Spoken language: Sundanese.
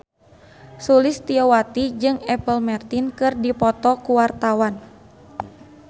Sulistyowati jeung Apple Martin keur dipoto ku wartawan